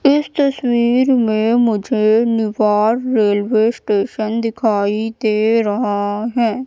इस तस्वीर में मुझे निवार रेलवे स्टेशन दिखाई दे रहा है।